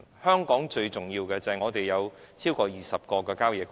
香港最重要的旅遊景點，是超過20個的郊野公園。